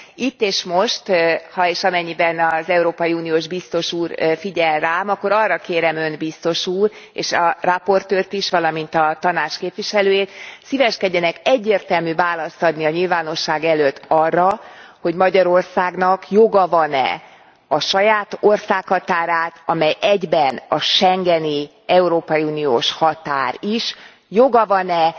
Itt és most, ha és amennyiben az európai uniós biztos úr figyel rám, akkor arra kérem Önt, biztos úr és a rapportőrt is, valamint a Tanács képviselőjét, szíveskedjenek egyértelmű választ adni a nyilvánosság előtt arra, hogy Magyarországnak joga van e a saját országhatárát, amely egyben a schengeni európai uniós határ is, joga van e